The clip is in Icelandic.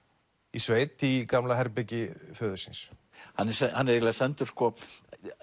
í sveit í gamla herbergi föður síns